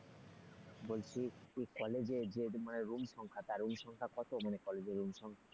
বলছি ওই কলেজের যে মানে room সংখ্যা তা room সংখ্যা কত মানে কলেজে room সংখ্যা?